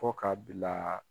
Fɔ ka bila